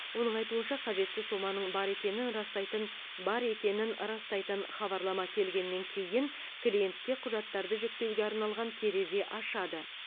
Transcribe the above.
оның айтуынша қажетті соманың бар екенін растайтын бар екенін растайтын хабарлама келгеннен кейін клиентке құжаттарды жүктеуге арналған терезе ашады